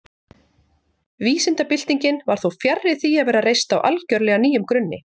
Vísindabyltingin var þó fjarri því að vera reist á algjörlega nýjum grunni.